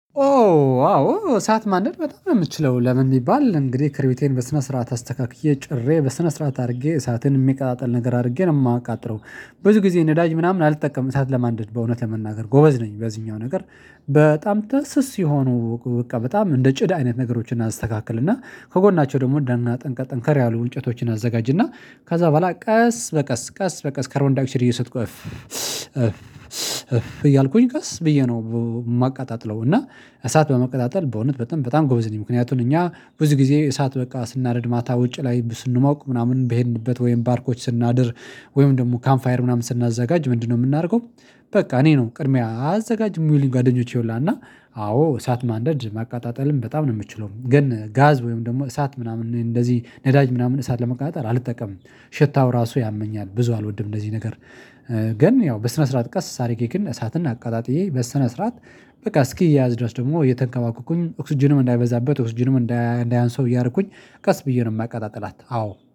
ኦ። አዎ እሳት ማንደድ በጣም የምትችለው ለምን የሚባል እንግዲህ ክርቢቴን በስነ ስርዓት አስተካክዬ ጭሬ በስነ ስርዓት አድርጌ እሳትን የሚቃጠል ነገር አድርጌ ነው የማቃጥረው ብዙ ጊዜ ነዳጅ ምናምን አልጠቀምም እሳት ለማንደድ በእውነት ለመናገር ጎበዝ ነኝ በዚህኛው ነገር። በጣም ተስስ የሆኑ በቃ በጣም እንደ ጭድ አይነት ነገሮችን እናስተካክልና ከጎናቸው ደግሞ ደና ጠንከር ያሉ እንጨቶችን አዘጋጅና ከዛ በኋላ ቀስ በቀስ ቀስ በቀስ ከርቦን ዳይኦክሳይድ እየሰጥኩ እፍ እፍ እፍ እያልኩኝ ቀስ ብዬ ነው የማቀጣጥለው እና እሳት በመቀጣጠል በእውነት በጣም በጣም ጎበዝ ነኝ። ምክንያቱም እኛ ብዙ ጊዜ እሳት በቃ ስናነድ ማታ ውጪ ላይ ስንሞቅ ምናምን በሄድንበት ወይም ባርኮች ስናድር ወይም ደግሞ ካምፕ ፋየር ምናምን ስናዘጋጅ ምንድነው የምናደርገው? በቃ እኔ ነው ቅድሚያ አዘጋጅ የሚሉ ጓደኞች ሁላና አዎ እሳት ማንደድ ማቃጣጠልም በጣም ነው የምትችለው ግን ጋዝ ወይም ደግሞ እሳት ምናምን እንደዚህ ነዳጅ ምናምን እሳት ለመቃጠል አልጠቀምም። ሸታው ራሱ ያመኛል ብዙ አልወድም እንደዚህ ነገር። ግን ያው በስነ ስርዓት ቀስ ሳሪኬክን እሳትን አቃጣጥዬ በሰነ ስርዓት በቃ እስኪያዝ ድረስ ደግሞ እየተንከባከብኩኝ ኦክስጅንም እንዳይበዛበት ኦክስጅንም እንዳያንስው እያርኩኝ ቀስ ብዬ ነው የማቀጣጥላት አዎ